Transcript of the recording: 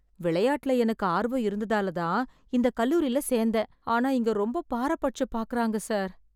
விளையாட்டுல எனக்கு ஆர்வம் இருந்ததாலதான் இந்த கல்லூரில சேர்ந்தேன்... ஆனா இங்க ரொம்ப பாரபட்சம் பாக்கறாங்க சார்.